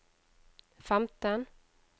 femten